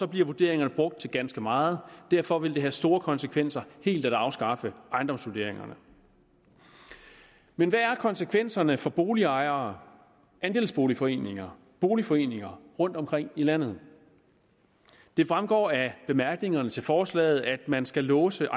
bliver vurderingerne brugt til ganske meget og derfor vil det have store konsekvenser helt at afskaffe ejendomsvurderingerne men hvad er konsekvenserne for boligejere andelsboligforeninger boligforeninger rundtomkring i landet det fremgår af bemærkningerne til forslaget at man skal låse